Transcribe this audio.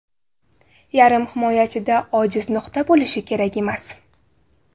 Yarim himoyachida ojiz nuqta bo‘lishi kerak emas.